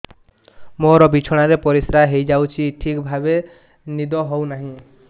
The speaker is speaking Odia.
ମୋର ବିଛଣାରେ ପରିସ୍ରା ହେଇଯାଉଛି ଠିକ ଭାବେ ନିଦ ହଉ ନାହିଁ